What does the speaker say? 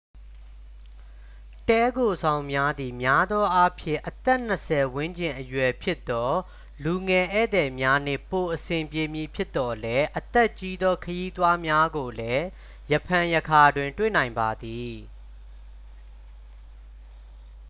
တည်းခိုဆောင်များသည် များသောအားဖြင့် အသက်နှစ်ဆယ်ဝန်းကျင်အရွယ်ဖြစ်သော လူငယ်ဧည့်သည်များနှင့်ပိုအဆင်ပြေမည်ဖြစ်သော်လည်း အသက်ကြီးသော ခရီးသွားများကိုလည်း ရံဖန်ရံခါတွင် တွေ့နိုင်ပါသည်